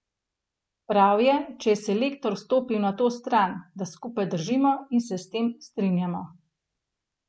Prav je, če je selektor stopil na to stran, da skupaj držimo in se s tem strinjamo.